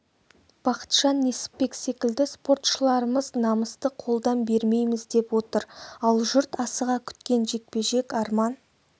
бақытжан несіпбек секілді спортшыларымыз намысты қолдан бермейміз деп отыр ал жұрт асыға күткен жекпе-жек арман